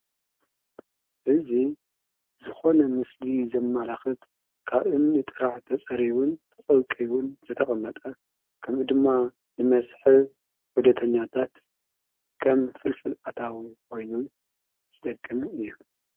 እዙ ዝኾነ ምስሊ ዘማላኽት ካብ እምኒ ጥራሕ ተጸሪቡን ተቐውቅውን ዝተቕመጠ ከምኡ ድማ ንመስሕብ ወደተኛታት ከም ፍልፍል ኣታዊ ወይኑን ዝጠቅም እዩ።